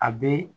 A bɛ